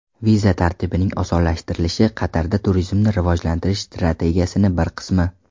Viza tartibining osonlashtirilishi Qatarda turizmni rivojlantirish strategiyasining bir qismi.